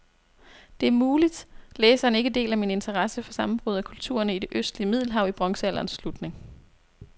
Det er muligt, læseren ikke deler min interesse for sammenbruddet af kulturerne i det østlige middelhav i bronzealderens slutning.